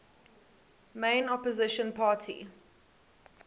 main opposition party